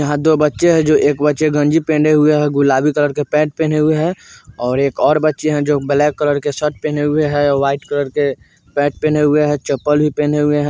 यहा दो बच्चे है एक बच्चे है गंजी पहने है और गुलाबी कलर के पेंट पहने हुए है और एक और बच्चे है जो ब्लैक कलर के शर्ट पहने है और वाइट कलर के पेंट पहने हुए है और चप्पल भी पहने हुए है।